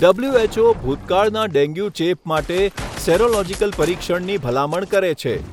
WHO ભૂતકાળના dengue ચેપ માટે સેરોલોજીકલ પરીક્ષણની ભલામણ કરે છે.